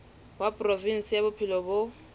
wa provinse ya bophelo bo